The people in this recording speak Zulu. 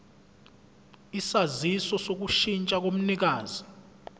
isaziso sokushintsha komnikazi